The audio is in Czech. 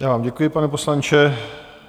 Já vám děkuji, pane poslanče.